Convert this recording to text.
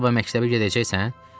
Sabah məktəbə gedəcəksən?